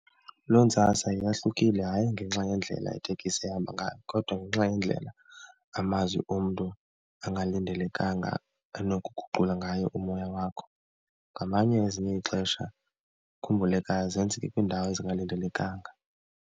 Loo ntsasa yahlukile hayi ngenxa yendlela itekisi ehamba ngayo kodwa ngenxa yendlela amazwi omntu angalindelekanga anokuguqula ngayo umoya wakho. Ngamanye ezinye ixesha ukhumbulekayo zenzeke kwiindawo ezingalindelekanga.